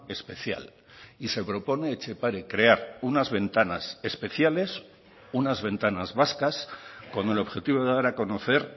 especial y se propone etxepare crear unas ventanas especiales unas ventanas vascas con el objetivo de dar a conocer